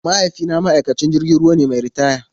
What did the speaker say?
Mahaifina ma'aikacin jirgin ruwa ne mai ritaya.